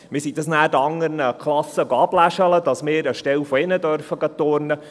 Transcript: Wir schwatzten es nachher den anderen Klassen ab, sodass wir an ihrer Stelle turnen gehen durften.